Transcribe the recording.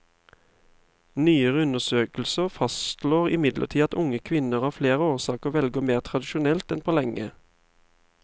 Nyere undersøkelser fastslår imidlertid at unge kvinner av flere årsaker velger mer tradisjonelt enn på lenge.